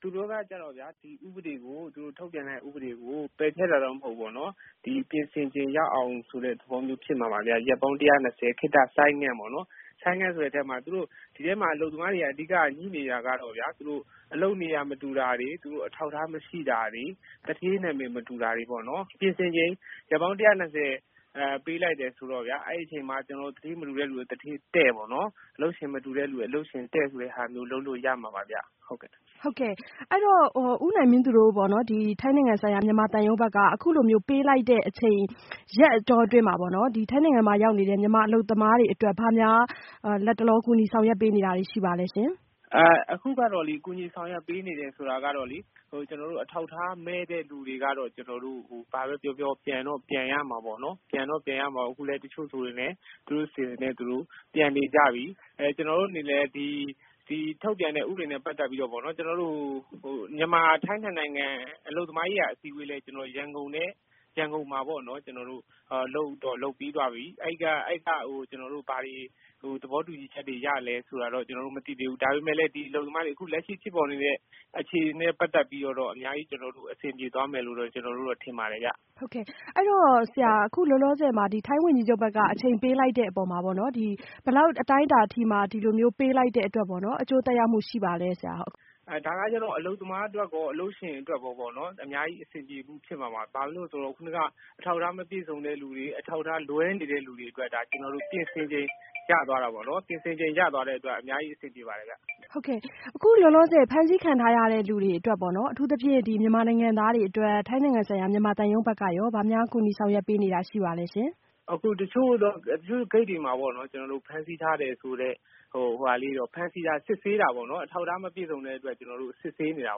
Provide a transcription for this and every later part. သူတို့ကကျတော့ဗျာ ဒီထုတ်ပြန်တဲ့ဥပဒေကိုပယ်ဖျက်တာတော့ မဟုတ်ဘူးပေါ့နော် ပြင်ဆင်ချိန်ရအောင်ဆိုတဲ့သဘော ရက်ပေါင်း ၁၂၀ ခေတ္တဆိုင်းငံ့ပေါ့နော်။ ဆိုင်းငံ့ဆိုတဲ့သဘောကတော့ အဓိကကတော့ အလုပ်သမားတွေ ငြိနေတဲ့ကိစ္စကတော့ အလုပ်နေရာမတူတာတွေ အထောက်အထားမရှိတာတွေ သူဌေးနာမည်မတူတာတွေ ပြင်ဆင်ချိန် ရက်ပေါင်း ၁၂၀ ပေးလိုက်တယ်ဆိုတော့ အဲ့ဒီ့အချိန်မှာ သူတို့ သူဌေးမတူတဲ့သူတွေ သူဌေး တည့်ပေါ့။ အလုပ်ရှင်မတူသူတွေ အလုပ်ရှင် တည့် ဆိုတဲ့ ဟာမျိုး လုပ်လို့ရမှာပါဗျ။ ဟုတ်ကဲ့။ အဲ့ဒီ့တော့ ဦးနိုင်မင်းသူတို့ ထိုင်းနိုင်ငံဆိုင်ရာ မြန်မာသံရုံးဘက်က အခုလိုမျိုးပေးလိုက်တဲ့အချိန် ရက်အတောအတွင်းမှာပေါ့နော် ထိုင်းနိုင်ငံမှာရောက်နေတဲ့မြန်မာအလုပ်သမားတွေအတွက် ဘာများ လတ်တလော ကူညီဆောင်ရွက်ပေးနေတာတွေရှိပါလဲရှင်။ ဟုတ်ကဲ့ ကျနော်တို့ အခုကူညီဆောင်ရွက်ပေးနေတဲ့ဆိုတာကလေ အထောက်အထားမဲ့တဲ့သူတွေကတော့ ဘာပဲပြောပြော ပြန်တော့ပြန်ရမှာပေါ့နော်။ အခုဆိုရင် တချို့ဆို သူတို့အစီအစဉ်နဲ့သူတို့ ပြန်နေကြပြီ။ ကျနော်တို့အနေနဲ့ ဒီထုတ်ပြန်တဲ့ဥပဒေနဲ့ပတ်သက်ပြီး မြန်မာ-ထိုင်းနှစ်နိုင်ငံ အလုပ်သမားရေးရာအစည်းအဝေး ရန်ကုန်မှာပေါ့နော် လုပ်ပြီးပါပြီ အဲ့ကနေ ဘာတွေ သဘောတူညီချက်တွေ ရသလဲဆိုတာတော့ ကျနော်တို့မသိသေးဘူး။ ဒါပေမဲ့လည်း ဒီအလုပ်သမားတွေ လက်ရှိဖြစ်ပေါ်နေတဲ့ အခြေအနေနဲ့ပတ်သက်ပြီးတော့ အများကြီးအဆင်ပြေသွားမယ်လို့တော့ ကျနော်တို့တော့ ထင်ပါတယ်ဗျ။ ဟုတ်ကဲ့ အဲ့ဒီ့တော့ အခုလို ထိုင်းဝန်ကြီးချုပ်ဘက်က အချိန်ပေးလိုက်တဲ့အပေါ်မှာ ဘယ်လောက်အတိုင်းအတာအထိမှ ဒီလိုမျိုး အချိန်ပေးလိုက်တဲ့အပေါ် အကျိုးသက်ရောက်မှုရှိပါလဲရှင့်။ ဒါကတော့ အလုပ်သမားအတွက်ရော အလုပ်ရှင်အတွက်ရော အများကြီးအဆင်ပြေမှုဖြစ်မှာပါ။ ဘာဖြစ်လို့လဲဆိုတော့ ခုနက အထောက်အထားမပြည့်စုံတဲ့သူတွေ အထောက်အထားလွဲနေတဲ့သူတွေအတွက် ပြင်ဆင်ချိန် ရသွားတာပေါ့နော် ပြင်ဆင်ချိန် ရသွားတဲ့အတွက် အများကြီးအဆင်ပြေမှာပါခင်ဗျ။ အခုလောလောဆယ် ဖမ်းဆီးခံထားရတဲ့သူတွေအတွက် အထူးသဖြင့် မြန်မာနိုင်ငံသားတွေအတွက် ထိုင်းနိုင်ငံဆိုင်ရာ မြန်မာသံရုံးဘက်က ဘာများကူညီဆောင်ရွက်ပေးနေတာရှိပါလဲရှင်။ ဟုတ်ကဲ့ တချို့ဂိတ်တွေမှာ ဖမ်းဆီးထားတယ်ဆိုတဲ့ သူတွေကို အထောက်အထားမပြည့်စုံတဲ့အတွက် စစ်ဆေးနေတာ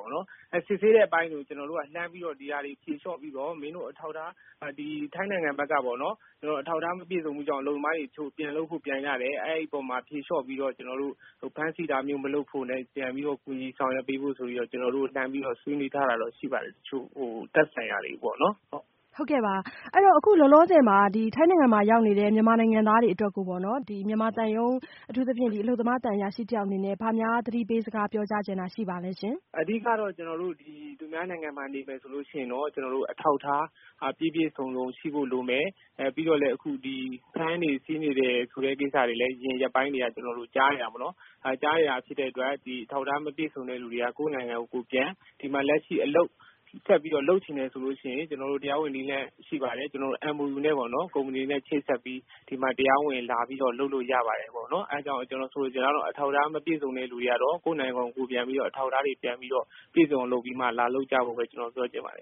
ပေါ့နော်။ စစ်ဆေးနေတဲ့အပိုင်းကို ကျနော်တို့က လှမ်းပြီးတော့ ဒီဟာတွေကို ဖြေလျော့ပြီးတော့ ထိုင်းနိုင်ငံဘက်က အလုပ်သမားတွေ အထောက်အထားမပြည့်စုံလို့ ပြန်လုပ်ဖို့ ပြန်ကြတယ်။ အဲ့ဓီ့အပေါ်မှာ ဖြေလျော့ပြီးတော့ ကျနော်တို့ ဖမ်းဆီးတာမျိုး မလုပ်ဖို့နဲ့ ပြန်ပြီးတော့ ကူညီဆောင်ရွက်ပေးဖို့ ကျနော်တို့ လှမ်းပြီးတော့ ဆွေးနွေးထားတာရှိပါတယ် တချို့သက်ဆိုင်ရာတွေကိုပေါ့နော် ဟုတ်ကဲ့။ ဟုတ်ကဲ့ လောလောဆယ်မှာ ထိုင်းနိုင်ငံမှာရောက်နေတဲ့ မြန်မာနိုင်ငံသားတွေကိုပေါ့နော် မြန်မာသံရုံး အထူးသဖြင့် အလုပ်သမားသံအရာရှိတယောက်အနေနဲ့ ဘာများသတိပေးစကားပြောကြားချင်တာရှိပါသလဲရှင်။ အဓိကကတော့ ကျနော်တို့ သူများနိုင်ငံမှာ နေမယ်ဆိုရင်တော့ အထောက်အထား ပြည့်ပြည့်စုံစုံ ရှိဖို့လိုမယ်။ ပြီးတော့လည်း အခုဖမ်းတယ်ဆီးတယ်ဆိုတဲ့ကိစ္စတွေကိုလည်း အရင်ရက်ပိုင်းတွေက ကျနော်တို့ ကြားနေရတာပေါ့နော် အဲ့လိုကြားနေရတာဖြစ်တဲ့အတွက် အထောက်အထားမပြည့်စုံတဲ့သူတွေကတော့ ကိုယ့်နိုင်ငံကို ကိုယ်ပြန် ။ ဒီမှာ အလုပ်ဆက်လုပ်ချင်တယ်ဆိုရင် ကျနော်တို့ တရားဝင်နည်းလမ်း ရှိပါတယ်။ MOU နဲ့ပေါ့နော် ကုမ္မဏီတေ့နဲ့ ချိတ်ဆက်ပြီး ဒီမှာ တရားဝင် လာလုပ်လို့ရပါတယ်။ အဲ့ဒီ့တော့ ကျနော်ဆိုလိုချင်တာကတော့ အထောက်အထားမပြည့်စုံတဲ့သူတွေကတော့ ကိုယ့်နိုင်ငံကို ကိုယ်ပြန်ပြီးတော့ အထောက်အထားတွေ ပြန်ပြီးတော့ ပြည့်စုံအောင် လုပ်ပြီးမှ လာလုပ်ကြဖို့ ကျနော်ပြောချင်ပါတယ